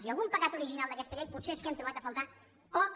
i algun pecat original d’aquesta llei potser és que hem trobat a faltar poc